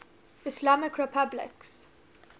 islamic republics